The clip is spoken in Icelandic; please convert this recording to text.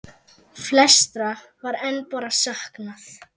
Flestra var enn bara saknað.